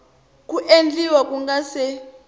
ku endliwa ku nga si